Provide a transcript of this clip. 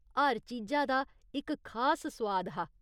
हर चीजा दा इक खास सुआद हा।